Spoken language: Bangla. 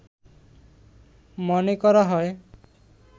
মনে করা হয়